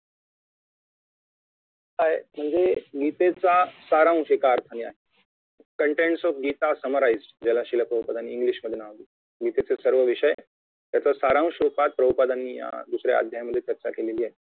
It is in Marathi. Hi म्हणजे गीतेचा सारांश एका अर्थाने आहे Contains of गीता summarized ज्याला शिलाक्रोपदानी इंग्लिश मध्ये नाव दिले आहे गीतेचा सर्व विषय त्याचा सारांश रुपात क्रोपदांनी दुसऱ्या अध्यायामधे चर्चा केली आहे